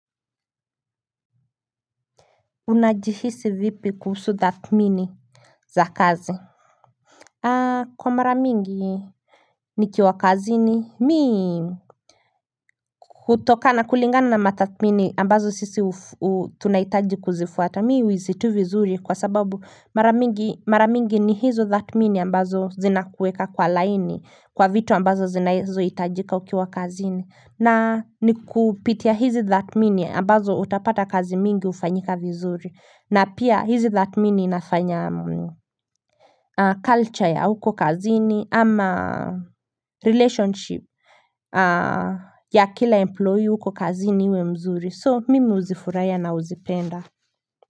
Unajihisi vipi kuhusu thatmini za kazi Kwa maramingi Nikiwa kazini mii kutokana kulingana na mathatmini ambazo sisi tunaitaji kuzifuata mii huisi tu vizuri kwa sababu maramingi ni hizo thatmini ambazo zinakuweka kwa laini kwa vitu ambazo zinazo itajika ukiwa kazini na ni kupitia hizi thatmini ambazo utapata kazi mingi ufanyika vizuri na pia hizi thatmini inafanya culture ya huko kazini ama relationship ya kila employee huko kazini uwe mzuri so mimi uzifuraia na uzipenda.